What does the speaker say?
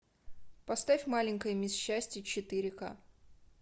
поставь маленькая мисс счастье четыре к